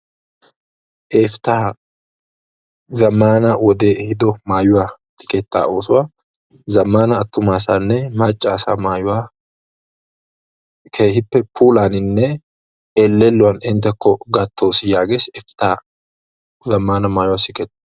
Efta zammaana wodee ehido mayuwa siketta oosuwa zammaana attuma asanne macca asaa mayuwa keehippe puulaaninne ellelluwan enttekko gattoos yaages efta zammaana mayuwa sikettay.